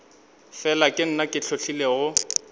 fela ke nna ke hlotlilego